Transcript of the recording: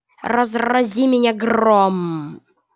разрази меня гром